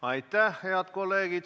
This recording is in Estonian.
Aitäh, head kolleegid!